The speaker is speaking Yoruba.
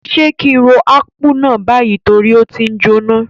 Sé ki n ro Akpu náà bayi torí o ti njoná?